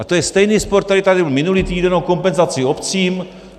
A to je stejný spor, který tady byl minulý týden o kompenzaci obcím.